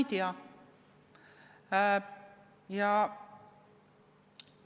Ei, ma ei tea seda.